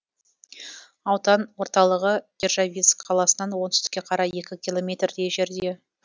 аудан орталығы державинск қаласынан оңтүстікке қарай екі километрдей жерде